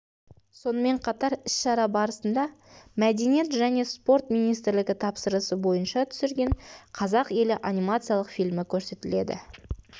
сонымен қатар іс-шара барысында мәдениет және спорт министрлігі тапсырысы бойынша түсірген қазақ елі анимациялық фильмі көрсетіледі